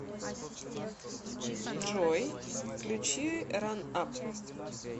джой включи ран ап